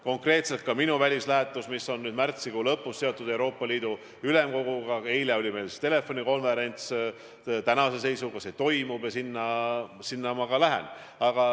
Konkreetselt ka minu välislähetus märtsikuu lõpus, mis on seotud Euroopa Ülemkoguga – eile oli meil küll telefonikonverents –, tänase seisuga toimub ja sinna ma lähen.